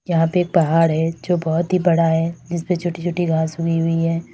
यहां पे पहाड़ है जो बहोत ही बड़ा है इस पे छोटी छोटी घास उगी हुई है।